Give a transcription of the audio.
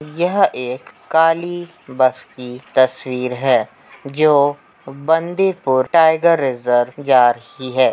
यह एक काली बस की तस्वीर है जो बंदीपुर टाइगर रिज़र्व जा रही है।